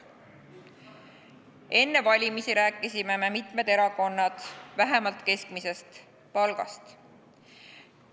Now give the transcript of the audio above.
Enne valimisi rääkisime me – mitmed erakonnad – vähemalt keskmisest palgast.